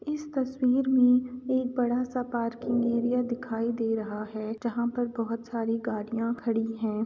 इस तस्वीर में एक बड़ा सा पार्किंग एरिया दिखाई दे रहा है जहाँ पर बहुत सारी गाडियाँ खड़ी हैं।